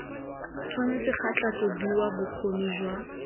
tshwanetse ga tlhatlhobiwa bokgoni jwa